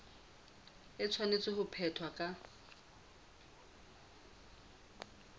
e tshwanetse ho phethwa ka